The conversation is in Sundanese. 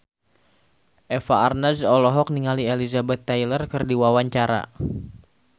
Eva Arnaz olohok ningali Elizabeth Taylor keur diwawancara